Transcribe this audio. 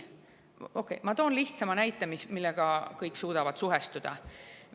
Ma toon lihtsa näite, millega kõik suudavad suhestuda.